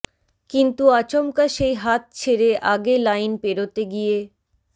কিন্তু আচমকা সেই হাত ছেড়ে আগে লাইন পেরোতে গিয়ে